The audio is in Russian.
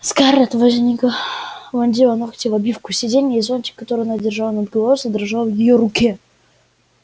скарлетт возникла вонзила ногти в обивку сиденья и зонтик который она держала над головой задрожал в её руке